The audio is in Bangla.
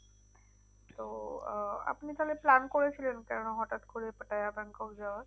তো আহ আপনি তাহলে plan করেছিলেন কেন হঠাৎ করে আহ ব্যাংকক যাওয়ার?